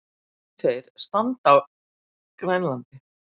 Mennirnir tveir standa á Grænlandi.